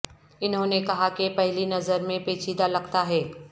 انہوں نے کہا کہ پہلی نظر میں پیچیدہ لگتا ہے